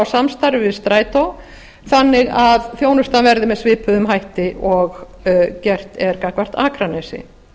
samstarfi við strætó þannig að þjónustan verði með svipuðum hætti og gert er gagnvart akranesi